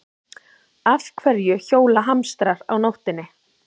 Af hverju hjóla hamstrar á nóttinni?